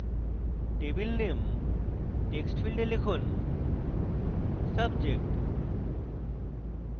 table name text ফীল্ডে লিখুন subject